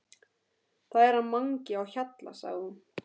Það er hann Mangi á Hjalla sagði hún.